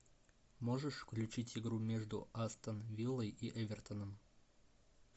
можешь включить игру между астон виллой и эвертоном